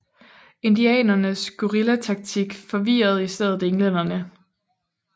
Indianernes guerillataktik forvirrede i stedet englænderne